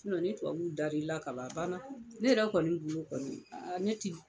ni tubabuw dar'i la ka ban a banna. Ne yɛrɛ kɔni bolo kɔni ne ti